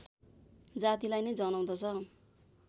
जातिलाई नै जनाउँदछ